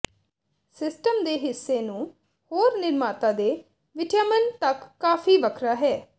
system ਦੇ ਹਿੱਸੇ ਨੂੰ ਹੋਰ ਨਿਰਮਾਤਾ ਦੇ ਿਵਟਾਿਮਨ ਤੱਕ ਕਾਫ਼ੀ ਵੱਖਰਾ ਹੈ